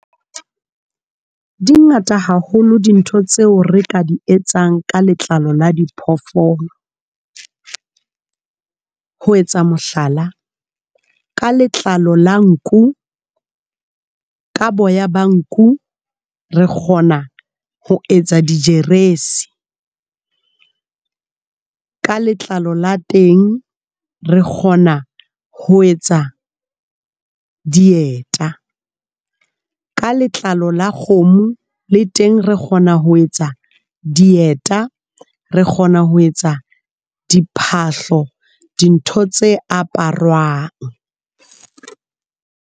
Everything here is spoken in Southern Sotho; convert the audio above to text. Di ngata haholo dintho tseo re ka di etsang ka letlalo la diphoofolo, ho etsa mohlala ka letlalo la nku ka boya ba nku re kgona ho etsa di jeresi , ka letlalo la teng re kgona ho etsa dieta, ka letlalo la kgomo le teng re kgona ho etsa dieta re kgona ho etsa diphahlo dintho tse aparwang.